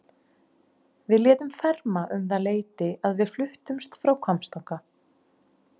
Við létum ferma um það leyti að við fluttumst frá Hvammstanga.